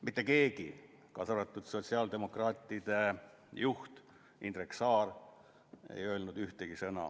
" Mitte keegi, kaasa arvatud sotsiaaldemokraatide juht Indrek Saar, ei öelnud ühtegi sõna.